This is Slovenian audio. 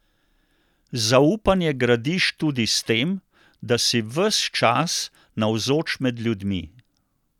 Zaupanje gradiš tudi s tem, da si ves čas navzoč med ljudmi.